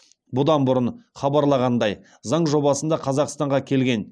бұдан бұрын хабарланғандай заң жобасында қазақстанға келген